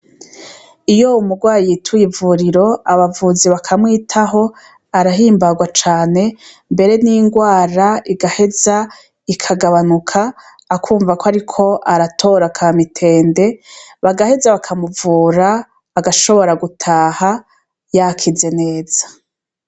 Iyo umurwayi yituye ivuriro abavuzi bakamwitaho arahimbarwa cane mbere n'ingwara igaheza ikagabanuka akumva ko ariko aratora ka mitende bagaheza bakamuvura agashobora gutaha yakize neza.